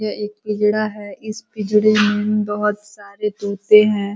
यह एक पिंजड़ा है। इस पिंजड़े में बहुत सारे तोते है।